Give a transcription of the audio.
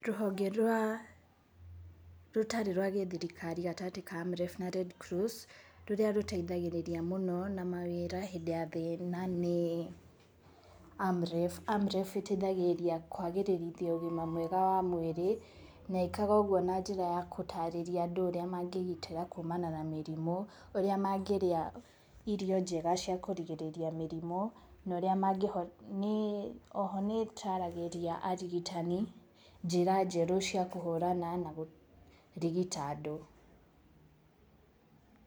Rũhonge rwa, rũtarĩ rwa gĩthirikari gatagatĩ ka AMREF na RedCross, rũrĩa rũteithagĩrĩria mũno na mawĩra hĩndĩ ya thĩna nĩ AmREF. AMREF ĩteithagirĩria kwagĩrĩrithia ũgima mwega wa mwĩrĩ, na ĩĩkaga ũguo na njĩra ya gũtarĩria andũ ũrĩa mangĩĩgitĩra kumana na mĩrimũ, ũrĩa mangĩrĩa irio njega cia kũrigĩrĩria mĩrimu, na ũrĩa mangĩhota, o ho nĩ ĩtaragĩria arigitani njĩra njerũ cia kũhũrana na kũrigita andũ.